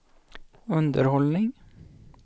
underhållning